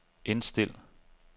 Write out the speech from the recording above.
indstil